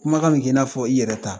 Kumakan be kɛ i n'a fɔ i yɛrɛ ta.